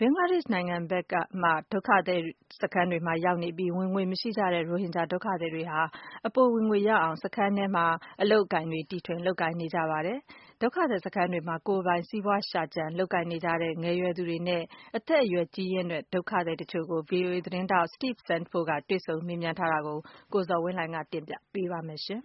ဘင်္ဂလားဒေ့ရှ်က ဒုက္ခသည်တွေမှာရောက်နေပြီး ဝင်ငွေမရှိကြတဲ့ ရိုဟင်ဂျာ ဒုက္ခသည်တွေဟာ အပိုဝင်ငွေရအောင် စခန်းအတွင်းမှာ အလုပ်အကိုင် တီထွင် လုပ်ကိုင်နေကြပါတယ်။ ဒုက္ခသည်စခန်းတွေမှာ ကိုယ်ပိုင် စီးပွားရှာကြံ လုပ်ကိုင်နေကြတဲ့ ငယ်ရွယ်သူတွေနဲ့ အသက်အရွယ် ကြီးရင့်တဲ့ ဒုက္ခသည်တချို့ကို ဗွီအိုအေသတင်းထောက် Steve Sandford က တွေ့ဆုံ မေးမြန်းထားတာကို ကိုဇော်ဝင်းလှိုင်က တင်ပြပေးပါမယ်။ မြန်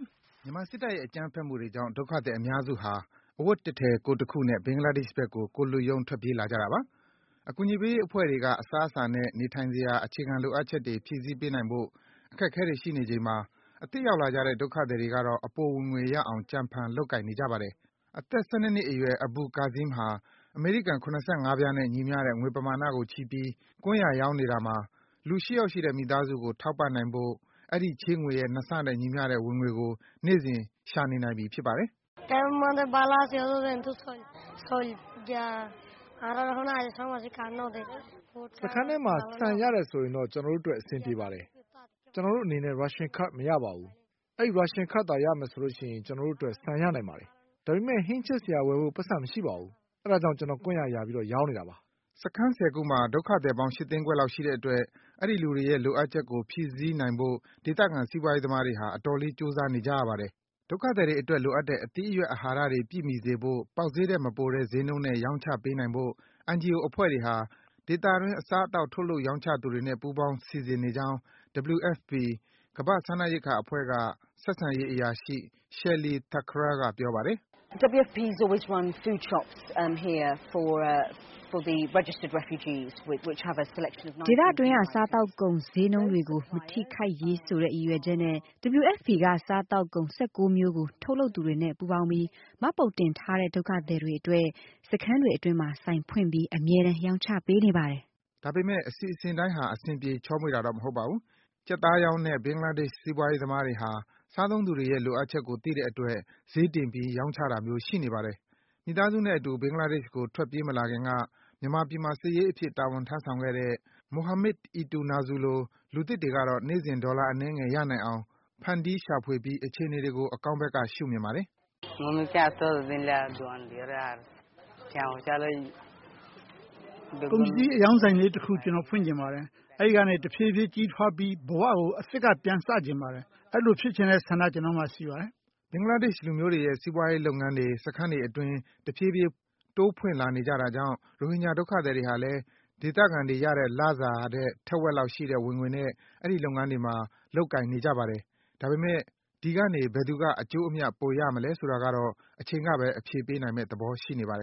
မာစစ်တပ်ရဲ့ အကြမ်းဖက်မှုတွေကြောင့် ဒုက္ခသည် အများစုဟာ အဝတ်တထည် ကိုယ်တခုနဲ့ ဘင်္ဂလားဒေ့ရှ်ဘက်ကို ကိုယ်လွတ်ရုံး ထွက်ပြေးလာကြတာပါ။ အကူအညီပေးရေးအဖွဲ့တွေက အစားအစာနဲ့ နေထိုင်စရာ အခြေခံလိုအပ်ချက်တွေ ဖြည့်ဆည်းပေးနိုင်ဖို့ အခက်အခဲတွေ ရှိနေချိန်မှာ အသစ်ရောက်လာကြတဲ့ ဒုက္ခသည်တွေကတော့ အပိုဝင်ငွေရအောင် ကြံဖန် လုပ်ကိုင်နေကြပါတယ်။ အသက် ၁၂ နှစ်အရွယ် Abul Kazeem ဟာ အမေရိကန် ၇၅ ပြားနဲ့ ညီမျှတဲ့ငွေပမာဏကို ချည်းပြီး ကွမ်းယာရောင်းနေတာမှာ လူ ၈ ယောက်ရှိတဲ့ မိသားစုကို ထောက်ပံ့နိုင်ဖို့ အဲဒီ ချည်းငွေရဲ့ ၂ ဆနဲ့ ညီမျှတဲ့ ဝင်ငွေကို နေ့စဉ် ရှာနေနိုင်ပြီ ဖြစ်ပါတယ်။ “စခန်းထဲမှာ ဆန်ရတယ်ဆိုရင်တော့ ကျနော်တို့အတွက် အဆင်ပြေပါတယ်။ ကျနော်တို့အနေနဲ့ ရာရှင်ကဒ်မရပါဘူး။ ရာရှင်ကဒ်ရမယ်ဆိုရင်တော့ ကျနော်တို့အတွက် ဆန်ရနိုင်ပါတယ်။ ဒါပေမယ့် ဟင်းချက်စရာဝယ်ဖို့ ပိုက်ဆံတော့ မရှိပါဘူး။ ဒါကြောင့် ကျနော် ကွမ်းယာ ယာရောင်းနေတာပါ။” စခန်း ၁၀ ခုမှာ ဒုက္ခသည်ပေါင်း ၈ သိန်းခွဲလောက်ရှိတဲ့အတွက် အဲဒီလူတွေရဲ့ လိုအပ်ချက်ကို ဖြည့်ဆည်းနိုင်ဖို့ ဒေသခံ စီးပွားရေးသမားတွေဟာ အတော်လေး ကြိုးစားနေကြရပါတယ်။ ဒုက္ခသည်တွေအတွက် လိုအပ်တဲ့ အသီးအရွက်၊ အဟာရတွေ ပြည့်မှီစေဖို့ ပေါက်ဈေးထက်မပိုတဲ့နှုန်းတဲ့ ဒုက္ခသည်တွေအတွက် ရောင်းချပေးနိုင်ဖို့ NGO အဖွဲ့တွေဟာ ဒေသတွင်း အစားအသောက် ထုတ်လုပ် ရောင်းချသူတွေနဲ့ ပူးပေါင်း စီစဉ်နေကြောင်း WFP ကမ္ဘာ့ စားနပ်ရိက္ခာအဖွဲ့က ဆက်ဆံရေး အရာရှိ Shelly Thakral က ပြောပါတယ်။ “ဒေသတွင်းက စားသောက်ကုန် ဈေးနှုန်းတွေကို မထိခိုက်ရေးဆိုတဲ့ ရည်ရွယ်ချက်နဲ့ WFP က စားသောက်ကုန် ၁၉ မျိုးကို ထုတ်လုပ်သူတွေနဲ့ ပူးပေါင်းပြီး မှတ်ပုံတင်ထားတဲ့ ဒုက္ခသည်တွေအတွက် စခန်းတွေအတွင်းမှာ ဆိုင်ဖွင့်ပြီး အမြဲတမ်း ရောင်းချပေးနေပါတယ်။ ဒါပေမယ့် အစီအစဉ်တိုင်းက အဆင်ပြေ ချောမွေ့တာတော့ မဟုတ်ပါဘူး။ ကြက်သားရောင်းတဲ့ ဘင်္ဂလားဒေ့ရှ် စီးပွားရေးသမားတွေဟာ စားသုံးသူတွေရဲ့ လိုအပ်ချက်ကို သိတဲ့အတွက် ဈေးတင်ပြီး ရောင်းချတာမျိုး ရှိနေပါတယ်။ မိသားစုနဲ့အတူ ဘင်္ဂလားဒေ့ရှ်ကို ထွက်မပြေးလာခင်က မြန်မာပြည်မှာ စာရေးအဖြစ် တာဝန်ထမ်းဆောင်ခဲ့တဲ့ Mohamid Eitunazu လို လူသစ်တွေကတော့ နေ့စဉ် ဒေါ်လာအနည်းငယ် ရနိုင်အောင် ဖန်တီး ရှာဖွေပြီး အခြေအနေတွေကို အကောင်းဘက်က ရှုမြင်ပါတယ်။ “ကုန်ပစ္စည်းအရောင်းဆိုင်လေးတခု ကျနော် ဖွင့်ချင်ပါတယ်။ အဲဒီကနေ တဖြည်းဖြည်း ကြီးထွားပြီး ဘဝကို အသစ်က ပြန်စချင်ပါတယ်။ အဲဒီလိုဖြစ်ချင်တဲ့ ဆန္ဒ ကျနော့်မှာရှိပါတယ်။” ဘင်္ဂလားဒေ့ရှ်လူမျိုးတွေရဲ့ စီးပွားရေးလုပ်ငန်းတွေ စခန်းတွေအတွင်း တဖြည်းဖြည်း ဖွင့်လာနေကြတာကြောင့် ရိုဟင်ဂျာ ဒုက္ခသည်တွေဟာလည်း ဒေသခံတွေရတဲ့ လစာထက် ထက်ဝက်လောက်ရှိတဲ့ ဝင်ငွေနဲ့ အဲဒီ လုပ်ငန်းတွေမှာ လုပ်ကိုင်နေကြပါတယ်။ ဒါပေမယ့် ဒီကနေ ဘယ်သူက အကျိုးအမြတ် ပိုရမလဲဆိုတာကတော့ အချိန်ကဘဲ အဖြေပေးနိုင်မယ့် သဘောရှိနေပါတယ်